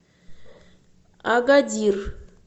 агадир